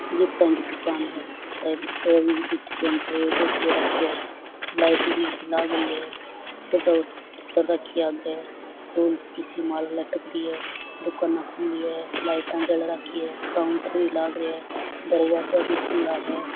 Gift की दुकान है रवि गिफ्ट सेण्टर एड्रेस दे राखो है लाइट सी लागरी है सजावट कर रखी है आगे फूल सी माला लटकरी है दुकान खुल रखी है लाइट जल रखी है काउंटर भी लाग रखी है दरवाजा भी खुला है।